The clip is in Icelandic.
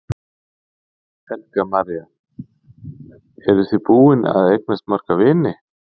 Helga María: Eru þið búin að eignast marga vini?